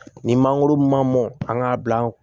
Ni mangoro ma mɔn an k'a bila an